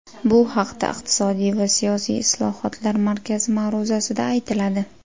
Bu haqda Iqtisodiy va siyosiy islohotlar markazi ma’ruzasida aytiladi.